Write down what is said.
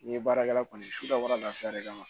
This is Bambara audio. N'i ye baarakɛla kɔni suda lafiya de kama